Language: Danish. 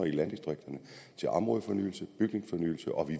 landdistrikterne til områdefornyelse bygningsfornyelse og vi